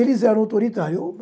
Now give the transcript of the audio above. Eles eram autoritários.